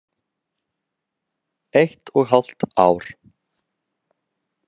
Eitt og hálft ár.